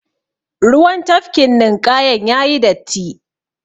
Ruwan tafkin ninƙayan yayi datti.